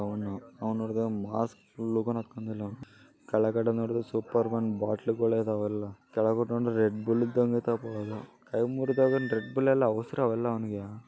ಆನು ನೋಡ್ ಮಾಸ್ಕ ಕೆಲೆಗದೆ ನೋಡದ್ರೆ ಸೂಪರ್ ಬೋತ್ತ್ಲೆಗಳೇ ಇದಾವೆ ಎಲ್ಲ ಕೆಲೆಗದೆ ರೆಡ್ಬುಲ್ ಇದ್ದಂಗಯ್ತೆ ರೆಡ್ಬುಲ್ ಎಲ್ಲ ]